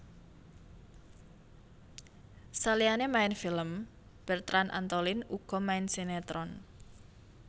Saliyané main film Bertrand Antolin uga main sinétron